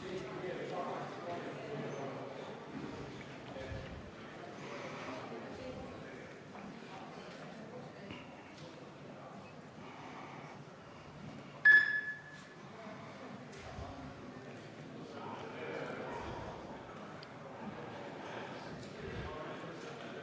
Hääletustulemused